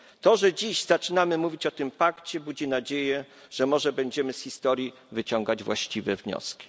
To, że dziś zaczynamy mówić o tym pakcie, budzi nadzieję, że może będziemy z historii wyciągać właściwe wnioski.